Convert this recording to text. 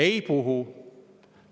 Ei puhu.